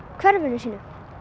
hverfinu sínu